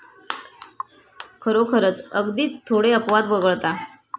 खरोखरच, अगदीच थोडे अपवाद वगळता.